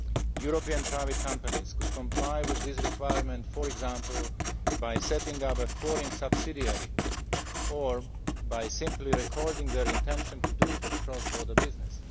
European private companies could comply with this requirement, for example by setting up a foreign subsidiary or by simply recording their intention to do cross border business.